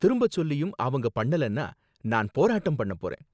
திரும்ப சொல்லியும் அவங்க பண்ணலனா நான் போராட்டம் பண்ண போறேன்.